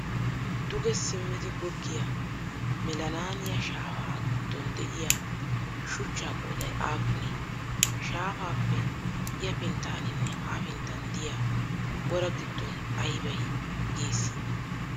Duge simmidi goggiya melanaaniya shaafaa giddon de'iya shuchchaa qooday aappunee? Shaafaappe ya pinttaaninne ha pinttan diya wora giddon ayibay geessii?